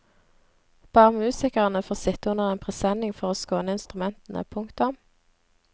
Bare musikerne får sitte under en presenning for å skåne instrumentene. punktum